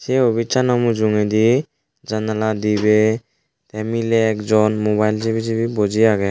se opisano mujungedi janala dibey tey miley ekjon mobile sibi sibi buji agey.